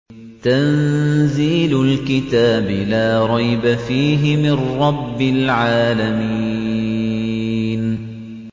تَنزِيلُ الْكِتَابِ لَا رَيْبَ فِيهِ مِن رَّبِّ الْعَالَمِينَ